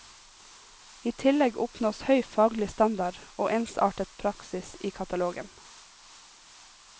I tillegg oppnås høy faglig standard og ensartet praksis i katalogen.